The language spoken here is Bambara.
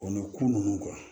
O ni ko nunnu